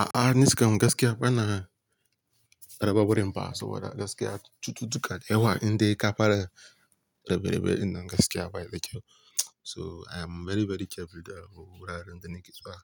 A'a, ni kam gaskiya ba na raba wurin ba, so wada gaskiya cututtuka dayawa inda ka fara rabe-rabe ɗin nan gaskiya bai da kyau. So I am very, very careful da wuraren da nake zuwa.